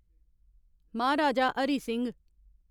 Maharaja Hari Singh